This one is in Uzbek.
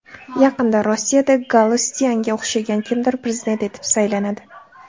Yaqinda Rossiyada Galustyanga o‘xshagan kimdir prezident etib saylanadi.